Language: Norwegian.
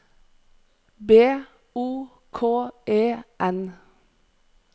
B O K E N